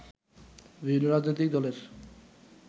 বিভিন্ন রাজনৈতিক দলের